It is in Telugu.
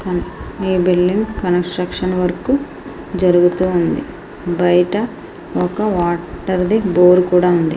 ఈ బిల్డింగు కన్స్ట్రక్షన్ వర్క్ జరుగుతూ ఉంది బయట ఒక వాటర్ ది డోర్ కూడా ఉంది.